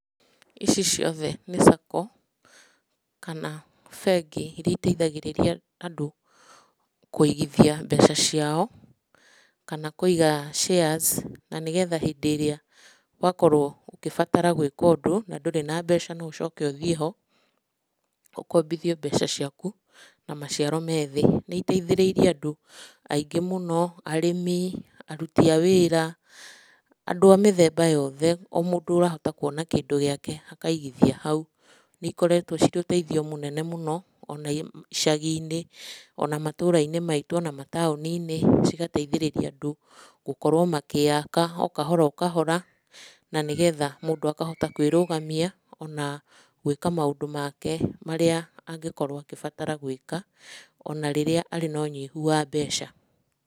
Ici ciothe nĩ sacco, kana bengi irĩa itethagĩrĩria andũ, kũigithia mbeca ciao, kana kũiga shares na nĩgetha hĩndĩ ĩria, wakorwo ũkĩbatara gwĩka ũndũ na ndũrĩ na mbeca no ũcoke ũthiĩ ho, ũkombithio mbeca ciaku na maciaro me thĩ. Nĩiteithĩrĩrie andũ, angĩ mũno, arĩmi, aruti a wĩra, andũ a mĩthemba yothe, o mũndũ ũrahota kuona kĩndũ gĩake akaigithia hau. Nĩikoretwo ci rĩ ũteithio mũnene mũno o na icagi-inĩ o na matũũra-inĩ maitũ o na mataũni-inĩ cigateithĩrĩria andũ, gũkorwo magĩaka o kahora kahora, na nĩgetha mũndũ akahota kwĩrũgamia, o na gwĩka maũndũ make marĩa, angĩkorwo agĩbatara gwĩka o na rĩrĩa arĩ na ũnyihu wa mbeca.